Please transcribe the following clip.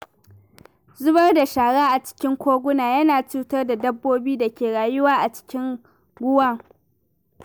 Zubar da shara a cikin koguna yana cutar da dabbobin da ke rayuwa a cikin ruwan.